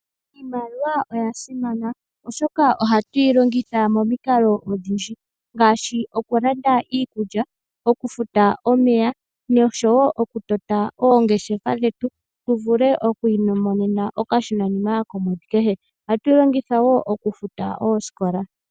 Iimaliwa oya simana oshoka ohatu yi longitha momikalo odhindji ngaashi oku landa iikulya, oku futa omeya noshowo oku tota oongeshefa dhetu tu vule oku imonena okashona nima komwedhi kehe. Ohatu yi longitha wo oku futa oosikola.